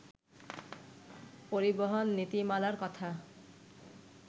পরিবহন নীতিমালার কথা